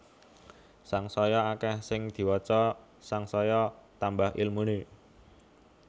Sangsaya akeh sing diwaca sangsaya tambah ilmune